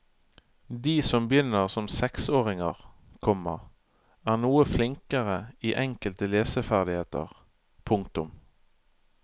De som begynner som seksåringer, komma er noe flinkere i enkelte leseferdigheter. punktum